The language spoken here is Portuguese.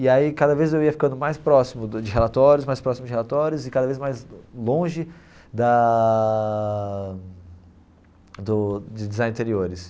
E aí cada vez eu ia ficando mais próximo de relatórios, mais próximo de relatórios e cada vez mais longe da do de design de interiores.